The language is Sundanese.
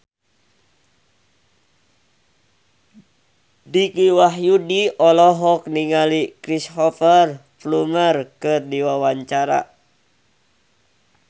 Dicky Wahyudi olohok ningali Cristhoper Plumer keur diwawancara